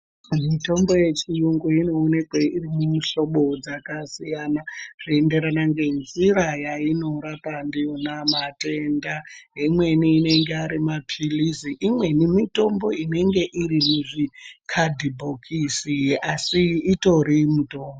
Mitombo yechiyungu inoonekwe iri mumuhlobo dzakasiyana zveiyenderana ngenjira yainorapa ndiyona matenda, imweni inenge arimaphilizi, imweni mitombo inenge irimuzvi kandibhokisi asi itori mutombo.